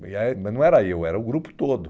e ah, mas não era eu, era o grupo todo.